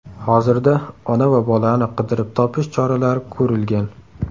Hozirda ona va bolani qidirib topish choralari ko‘rilgan.